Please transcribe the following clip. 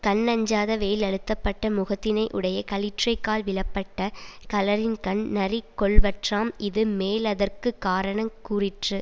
கண்ணஞ்சாத வேலழுத்தப்பட்ட முகத்தினையுடைய களிற்றை கால் விழப்பட்ட களரின்கண் நரி கொல்வற்றாம் இது மேலதற்கு காரணங் கூறிற்று